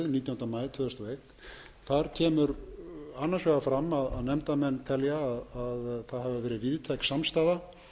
nítjánda maí tvö þúsund og eitt kemur annars vegar fram að nefndarmenn telja að það hafi verið víðtæk samstaða